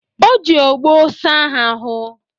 O ji ogboo saa ha ahụ.